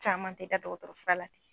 Caman tɛ da dɔgɔtɔrɔfura la.